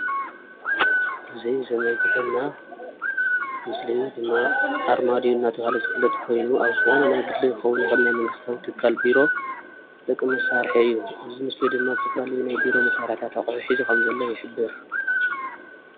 እዚይ ዘመልኽተና ምስሊ ድማ ኣርማድዮ እናብሃለ ዝፍለጥ ኾይኑ ኣብ ዝኾነ ናይ ግሊ ኽኾን ይኽእል ናይ መንግስቲዋ ትካል ቢሮ ዝጠቅም መሳርሒ እዩ። እዚ ሞስሊ ድማ ዝተፈላለዩ ናይ ቢሮ ኣቁሑታት ከም ዝሓዘ ይሕብር።